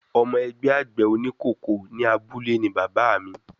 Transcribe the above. Ọmọ ẹgbẹ́ àgbẹ̀ oníkòkó ní abúlé ni bàbáà mi.